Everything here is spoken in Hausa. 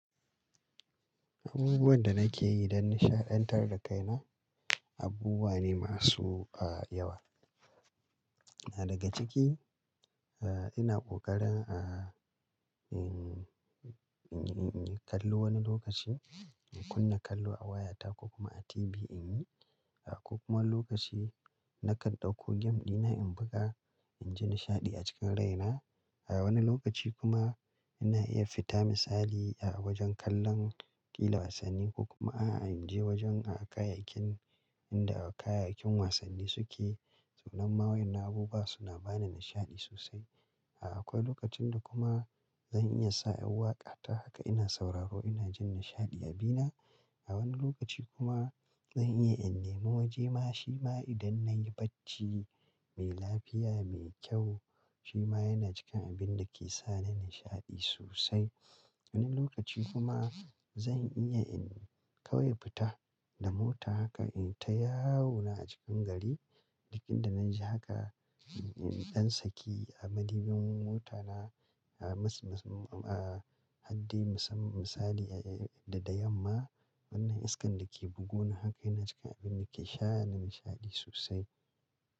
Abubuwan da nake yi don nishaɗantar da kaina, abubuwa ne masu, ah, yawa. Daga ciki, ah, ina ƙoƙarin a, in, in, in kallo wani lokaci, in kunna kallo a wayata ko kuma a TV in yi, ko kuma lokaci nakan ɗauko game dina in buga, in ji nishaɗi a cikin rai na. A wani lokaci kuma ina iya fita misali a wajen kallon ƙila wasanni ko kuma a, a, in je wajen a kayayyakin inda kayayyakin wasanni suke. Sanan ma wayannan abubuwa suna bani nishaɗi sosai. Akwai lokacin da kuma zan iya sa yar waƙa ta haka ina sauraro ina jin nishaɗi a bina. A wani lokaci kuma zan iya in nema waje ma shi ma idan nayi bacci mai lafiya, mai kyau, shi ma yana cikin abin da ke sa ni nishaɗi sosai. Wani lokaci kuma zan iya in kawai fita da mota haka in ta yawo na a cikin gari. Lokacin da na ji haka, in, in, in, don saki, a madubin mota na a mas, mas, ah, a hadde musam misali da, da, da yamma wannan iskan dake bugo ni haka yana cikin abin da ke sa ni nishaɗi sosai.